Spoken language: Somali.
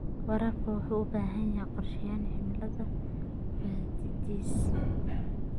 Waraabka waxa uu u baahan yahay qorshooyin cilmi baadhiseed.